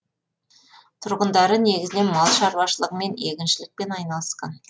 тұрғындары негізінен мал шарушылығымен егіншілікпен айналысқан